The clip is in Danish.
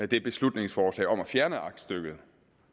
det beslutningsforslag om at fjerne aktstykket